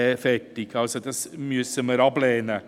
Diesen Antrag müssen wir ablehnen.